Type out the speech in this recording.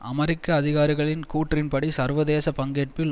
அமெரிக்க அதிகாரிகளின் கூற்றின்படி சர்வதேச பங்கேற்பில்